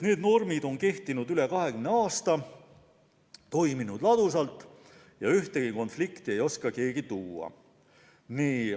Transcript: Need normid on kehtinud üle 20 aasta, toiminud ladusalt ja ühtegi konflikti ei oska keegi välja tuua.